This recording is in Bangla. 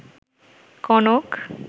কনক